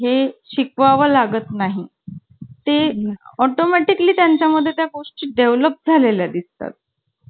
म्हटल हा माहिती आहे तो पडला घरी तर त्याला लागलेल. तेच, हा. आम्ही म्हंटल वर्गात पकडापकडी खेळत होतो ना तेव्हा, चुकून मी त्याचा पायावर पाय दिला. आणि नंतर तिथे एका फळ्यात पडून